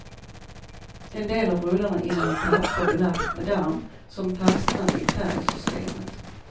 En del av rullarna innehöll papper belagt med damm, som fastnade i färgsystemet.